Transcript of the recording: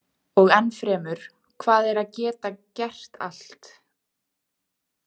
Og enn fremur, hvað er að geta gert allt?